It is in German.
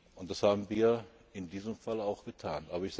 Und das haben wir in diesem Falle auch